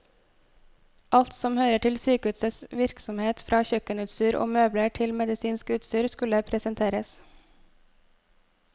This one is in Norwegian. Alt som hører til sykehusets virksomhet, fra kjøkkenutstyr og møbler til medisinsk utstyr, skulle presenteres.